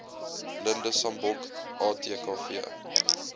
blinde sambok atkv